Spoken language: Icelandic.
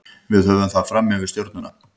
Við höfum það fram yfir Stjörnuna.